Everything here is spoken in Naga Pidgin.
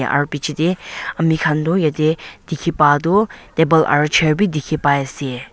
aru picche teh ami khan tu yate dikhi pa tu table aru chair be dikhi pai ase.